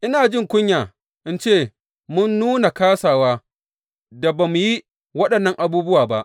Ina jin kunya in ce mun nuna kāsawa da ba mu yi waɗannan abubuwan ba!